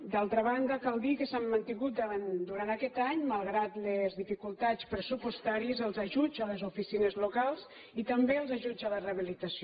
d’altra banda cal dir que s’han mantingut durant aquest any malgrat les dificultats pressupostàries els ajuts a les oficines locals i també els ajuts a la rehabilitació